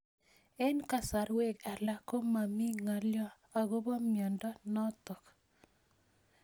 Eng'kasarwek alak ko mami ng'alyo akopo miondo notok